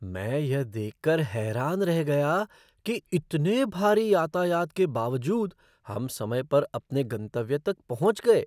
मैं यह देखकर हैरान रह गया कि इतने भारी यातायात के बावजूद हम समय पर अपने गंतव्य तक पहुँच गए!"